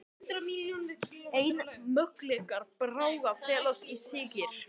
Einu möguleikar Braga felast í sigri